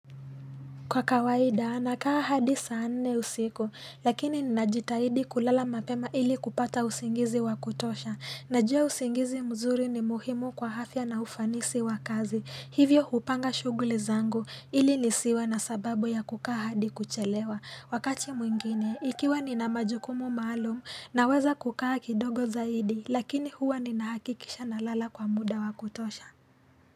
Kwa kawaida, nakaa hadi saa nne usiku, lakini ninajitahidi kulala mapema ili kupata usingizi wa kutosha. Najua usingizi mzuri ni muhimu kwa afya na ufanisi wa kazi. Hivyo hupanga shughuli zangu, ili nisiwe na sababu ya kukaa hadi kuchelewa. Wakati mwingine, ikiwa nina majukumu maalum, naweza kukaa kidogo zaidi, lakini huwa ninahakikisha nalala kwa muda wa kutosha.